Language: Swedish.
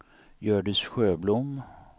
Hjördis Sjöblom